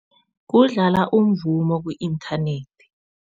Kudlala umvumo ku-inthanethi.